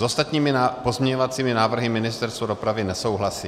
S ostatními pozměňovacími návrhy Ministerstvo dopravy nesouhlasí.